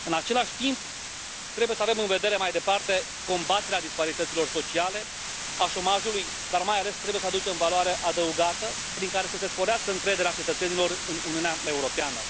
În același timp, trebuie să avem în vedere mai departe combaterea disparităților sociale, a șomajului, dar mai ales trebuie să aducem valoare adăugată prin care să se sporească încrederea cetățenilor în Uniunea Europeană.